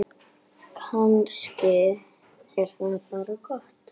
Kannski er það bara gott.